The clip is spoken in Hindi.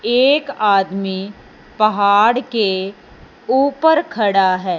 एक आदमी पहाड़ के ऊपर खड़ा है।